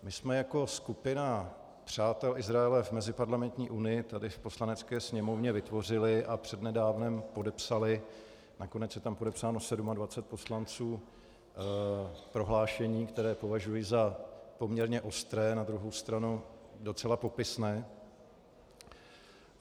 My jsme jako skupina přátel Izraele v Meziparlamentní unii tady v Poslanecké sněmovně vytvořili a přednedávnem podepsali - nakonec je tam podepsáno 27 poslanců - prohlášení, které považuji za poměrně ostré, na druhou stranu docela popisné.